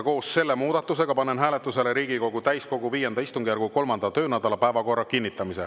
Koos selle muudatusega panen hääletusele Riigikogu täiskogu V istungjärgu 3. töönädala päevakorra kinnitamise.